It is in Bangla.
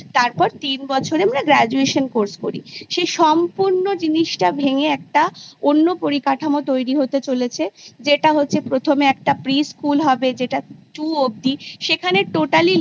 তারপর তিন বছর আমরা Graduation Course করি সেই সম্পূর্ণ জিনিসটা ভেঙে একটা অন্য পরিকাঠামো তৈরী হতে চলেছে যেটা হচ্ছে প্রথমে একটা Pre-School হবে যেটা Two অবধি সেখানে Totally